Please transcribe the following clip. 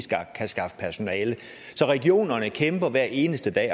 skaffe personale så regionerne kæmper hver eneste dag